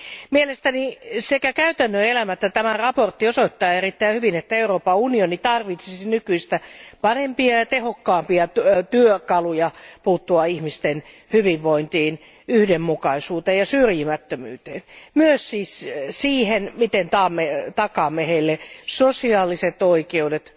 Mielestäni sekä käytännön elämä että tämä mietintö osoittavat erittäin hyvin, että Euroopan unioni tarvitsisi nykyistä parempia ja tehokkaampia työkaluja puuttua ihmisten hyvinvointiin, yhdenmukaisuuteen ja syrjimättömyyteen, myös siihen, miten takaamme heille sosiaaliset oikeudet,